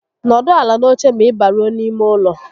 N'ọdụ ala n'oche ma ị baruo n'ime ụlọ